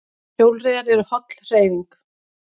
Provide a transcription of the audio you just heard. Hjólreiðar eru holl hreyfing